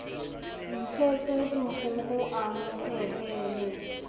ntshetse dikgoho a mo phehele